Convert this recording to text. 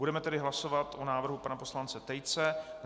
Budeme tedy hlasovat o návrhu pana poslance Tejce.